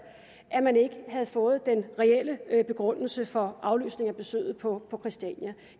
at man ikke havde fået den reelle begrundelse for aflysningen af besøget på på christiania